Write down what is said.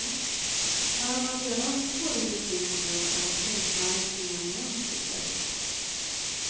När man redan står i butiken är prismärkningen minst lika viktig.